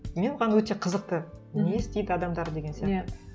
мен оған өте қызықты не істейді адамдар деген сияқты иә